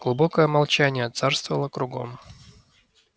глубокое молчание царствовало кругом